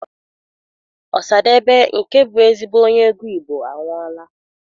Ọsadebe nke bụ ezigbo onye egwu Igbo anwụọla.